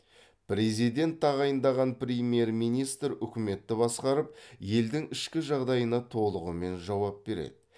президент тағайындаған премьер министр үкіметті басқарып елдің ішкі жағдайына толығымен жауап береді